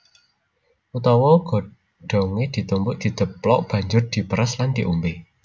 Utawa godhongé ditumbuk didheplok banjur diperes lan diombé